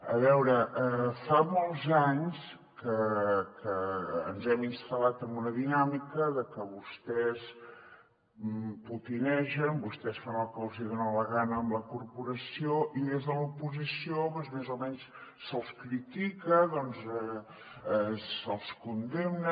a veure fa molts anys que ens hem instal·lat en una dinàmica de que vostès potinegen vostès fan el que els dona la gana amb la corporació i des de l’oposició doncs més o menys se’ls critica se’ls condemna